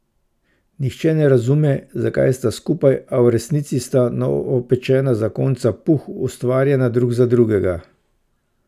Nihče ne razume, zakaj sta skupaj, a v resnici sta novopečena zakonca Puh ustvarjena drug za drugega.